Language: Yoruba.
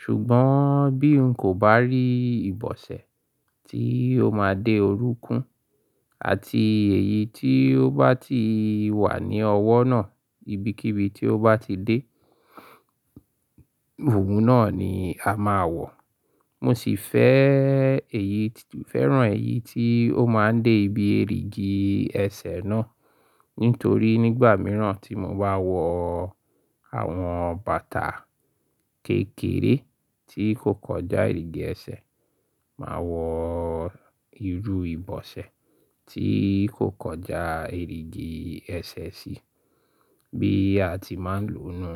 Ṣùgbọ́n bí n kò bá rí ìbọsẹ̀ tí ó máa dé orúnkún àti èyí tí ó bá ti wà ní ọwọ́ náà ibikíbi tí ó bá ti dé, oun náà ni a máa wọ̀. Mo sì fẹ́ ẹyí, fẹ́ran èyí tí ó máa ń dé ibi erìgì ẹsẹ̀ náà nítorí nígbà mìíràn tí mo bá wọ àwọn bàtà kéékèèré tí kò kọjá erìgì ẹsẹ̀, màá wọ irú ìbọsẹ̀ tí kò kọjá erìgì ẹsẹ̀ sí bí a ti máa ń lòó nù.